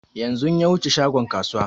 Yanzun ya wuce shagon kasuwa